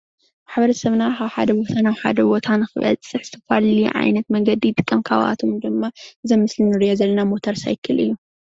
ማሕበረሰብና ካብ ሓደ ቦታ ናብ ሓደ ቦታ ንክበፅሕ ዝተፈላለዩ ዓይነት መንገዲ ይጥቀም ካብአቶም ድማ እዚ አብ ምስሊ ንርእዮ ዘለና ሞተር ሳይክል እዩ።